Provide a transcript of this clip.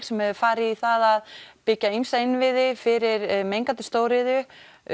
sem hefur farið í það að byggja ýmsa innviði fyrir mengandi stóriðju